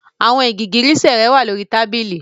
Your high heels are on the table